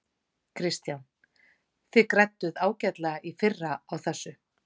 Kristján: Þið grædduð ágætlega í fyrr á þessu?